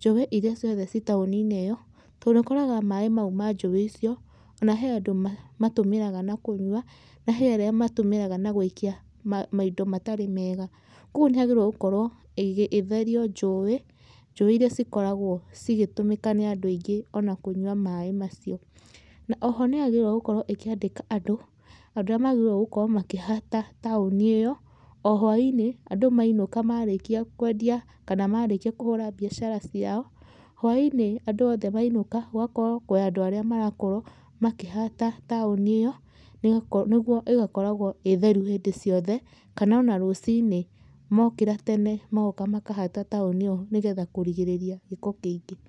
Njũĩ irĩa ciothe ci taũni-inĩ ĩyo, tondũ ũkoraga maĩ mau ma njũĩ icio ona he andũ mamatũmĩraga na kũnyua, na he arĩa matũmĩraga na gũikia maindo matarĩ mega. Kũguo nĩ hagĩrĩirwo gũkorwo ĩgetherio njũĩ, njũĩ irĩa cikoragwo cigĩtũmĩka nĩ andũ aingĩ ona kũnyua maĩ macio. Na oho nĩ yagĩrĩirwo gũkorwo ĩkĩandĩka andũ, andũ arĩa magĩrĩirwo gũkorwo makĩhata taũni ĩyo, o hwainĩ, andũ mainũka marĩkia kwendia kana marĩkia kũhũra biacara ciao, hwainĩ andũ othe mainũka gũgakorwo kwĩ andũ arĩa marakorwo makĩhata taũni ĩyo nĩguo ĩgakoragwo ĩĩ theru hĩndĩ ciothe kana ona rũciinĩ mokĩra tene magoka makahata taũni ĩyo nĩ getha kũrigĩrĩria gĩko kĩingĩ.